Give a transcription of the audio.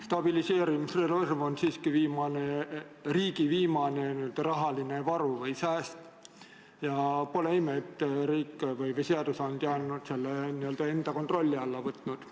Stabiliseerimisreserv on siiski riigi viimane rahaline varu või sääst ja pole ime, et riik või seadusandja on selle n-ö enda kontrolli alla võtnud.